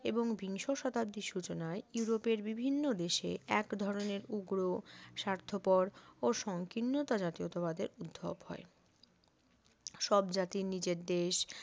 এবং বিংশ শতাব্দীর সূচনায় ইউরোপের বিভিন্ন দেশে এক ধরনের উগ্র স্বার্থপর ও সংকীর্ণতা জাতীয়তাবাদের উদ্ভব হয় সব জাতির নিজের দেশ